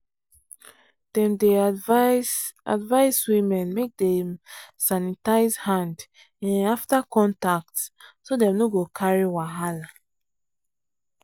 dem dey advise advise women make dem sanitize hand um after contact so dem no go carry wahala.